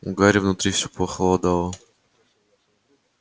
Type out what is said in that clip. у гарри внутри все похолодало